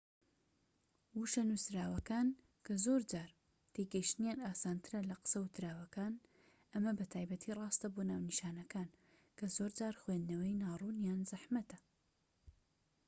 وشە نووسراوەکان زۆرجار تێگەیشتنیان ئاسانترە لە قسە ووتراوەکان ئەمە بە تایبەتی ڕاستە بۆ ناونیشانەکان کە زۆرجار خوێندنەوەی ناڕوونیان زەحمەتە